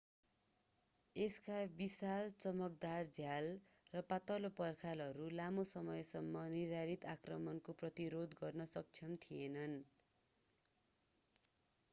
यसका विशाल चमकदार झ्याल र पातलो पर्खालहरू लामो समयसम्म निर्धारित आक्रमणको प्रतिरोध गर्न सक्षम थिएनन्